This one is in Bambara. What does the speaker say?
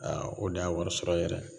Aa o de y'a warisɔrɔ yɛrɛ